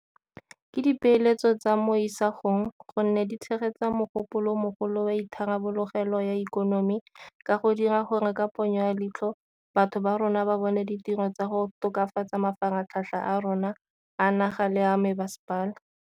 Ke dipeeletso tsa mo isagong gonne di tshegetsa mogopolo o mogolo wa itharabologelo ya ikonomi ka go dira gore ka ponyo ya leitlho batho ba borona ba bone ditiro tsa go tokafatsa mafaratlhatlha a rona a naga le a mebasepala.